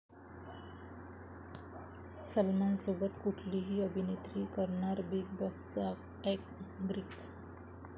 सलमानसोबत कुठली अभिनेत्री करणार 'बीग बॉस'चं अँकरींग?